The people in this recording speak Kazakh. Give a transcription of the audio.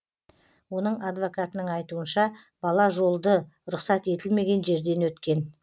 оның адвокатының айтуынша бала жолды рұқсат етілмеген жерден өткен